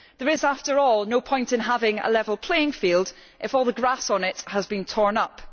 There is, after all, no point in having a level playing field if all the grass on it has been torn up.